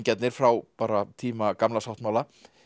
frá bara tíma Gamla sáttmála